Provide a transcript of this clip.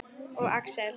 Og Axel.